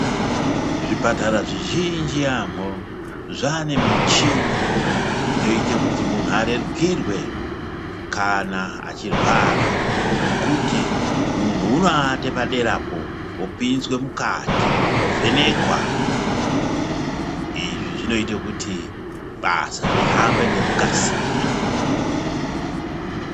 Zvipatara zvizhinji yaamho, zvaane michini, inoite kuti munhu arerukirwe ,kana achirwara, yekuti munhu unoate padera apo, opinzwe mukati, ovhenekwa. Izvi zvinoite kuti ,basa rihambe ngekukasira.